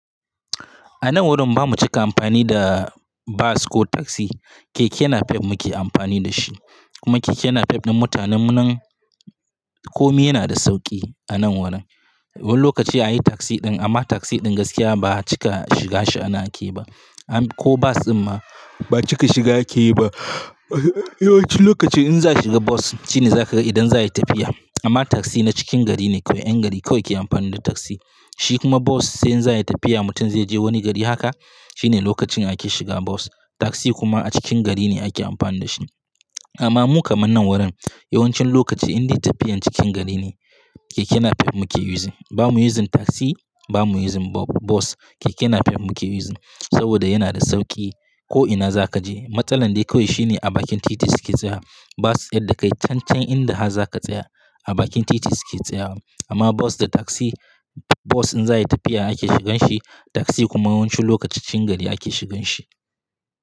A nan wurin ba mu cika amfani da bas ko taksi, keke napep muke amfani da shi. Kuma keke napep na mutanen nan komi yana da sauki a nan wurin. Wani lokaci anyi taksi ɗin amma taksi ɗin gaskiya ba cika shiga shi ana aiki ba ko bas in ma ba cika shiga aiki ba. Yawancin lokaci in za shiga bas shine za ka idan za yi tafiya. Amma taksi na cikin gari ne kawai 'yan gari kawai ke amfani da taksi. Shi kuma bas sai in za yi tafiya mutum zai je wani gari haka shine lokacin ake shiga bas. Taksi kuma a cikin gari ne ake amfani da shi. Amma mu kaman nan wurin yawancin lokaci indai tafiyar cikin gari ne keke napep muke using Ba mu using taksi ba mu using bas, keke napep muke using saboda yana da sauki ko'ina zaka je. Matsalar dai kawai shine a bakin titi suke tsaya. Bas yadda ka yi cancan inda za ka tsaya a bakin titi suke tsayawa. Amma bas da taksi, bas in za yi tafiya ake shigan shi taksi kuma yawancin lokaci cikin gari ake shigan shi.